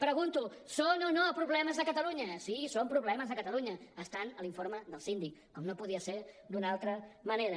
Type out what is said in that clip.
pregunto són o no problemes de catalunya sí són problemes de catalunya estan a l’informe del síndic com no podia ser d’una altra manera